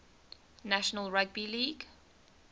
national rugby league